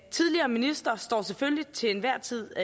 tidligere minister står selvfølgelig til enhver tid